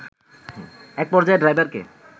এক পর্যায়ে ড্রাইভারকে